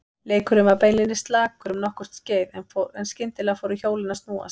Leikurinn var beinlínis slakur um nokkurt skeið en skyndilega fóru hjólin að snúast.